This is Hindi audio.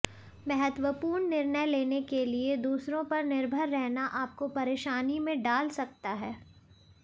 महत्वपूर्ण निर्णय लेने के लिए दूसरों पर निर्भर रहना आपको परेशानी में डाल सकता है